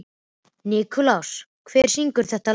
Nikulás, hver syngur þetta lag?